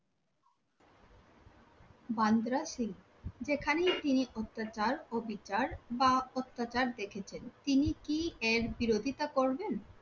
বান্দা সিং যেখানেই তিনি অত্যাচার অবিচার বা অত্যাচার দেখেছেন তিনি কি এর বিরোধিতা করবেন